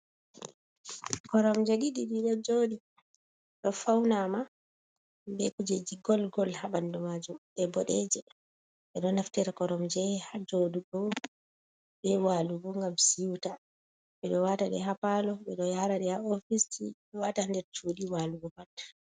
Koromje ɗiɗi ɗiɗo joɗi ɗo faunama be kujeji golgol ha ɓandu majum, ɗe boɗejum ɓeɗo naftira koromje hajoɗugo be walugo ngam siwta, ɓeɗo wata ɗe ha palo, ɓeɗo yaraɗi ha ofis wata ndercudɗi walugo pat.